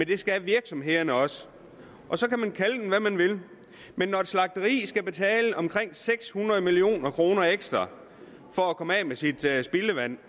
det skal virksomhederne også så kan man kalde den hvad man vil men når et slagteri skal betale omkring seks hundrede million kroner ekstra for at komme af med sit spildevand